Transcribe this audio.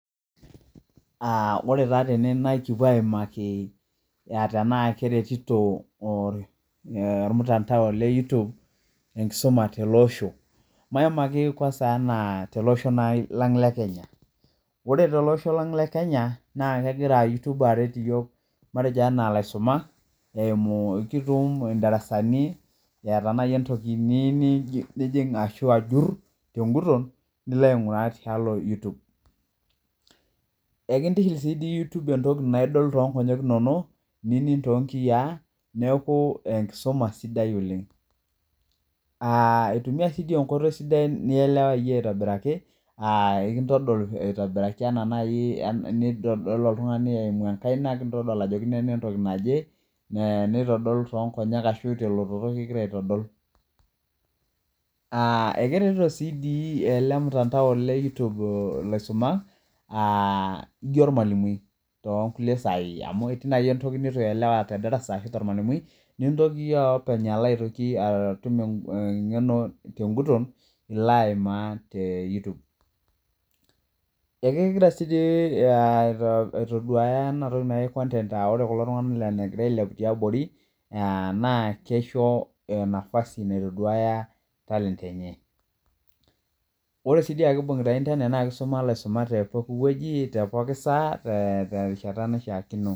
Ore taa tene naa kipuo aimaki tena keretito olmutandao le YouTube enkisuma tele osho Maimaki kwasa enaa tele osho lang' le Kenya Ore tolosho lang le Kenya naa kegira YouTube aret iyiok matejo enaa ilaisumak eimu kitum in'darasani eeta nai entoki niyieu nijing' ashu ajur tenguton niko ainguraa tialo YouTube Ekintiship sii YouTube entoki naidol toonkonyek inono ninig' toonkiyaa neeku enkisuma sidai oleng Eitumia sii enkoitoi sidai nielewayie aitobiraki aa ekintodol ena nai nitodol oltung'ani eimu enkaina nikintodol ajo nena entoki naje neitodol toonkonyek ashu telototo kigira aitodol Ekeretito taa sii doi ele mutandao le YouTube ilaisumak aa ijo ormwalimui too nkulie sai amu etii nai entoki neitu iyelewa te darasa ashu tormwalimui nintoki iyie openy alo aitoki atum eng'eno tenguton ilo aimaa te YouTube Ekegira saa dii ena toki naji content aa ore kulo tung'anak egira ailepu tiabori naa kisho enafasi naitoduaya talent Ore sii dii ake niisoma ilaisumak te pooki wueji te pooki saa terishata naishaakino